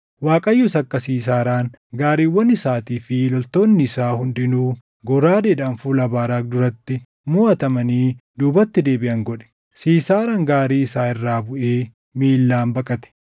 Waaqayyos akka Siisaaraan, gaariiwwan isaatii fi loltoonni isaa hundinuu goraadeedhaan fuula Baaraaqi duratti moʼatamanii duubatti deebiʼan godhe; Siisaaraan gaarii isaa irraa buʼee miillaan baqate.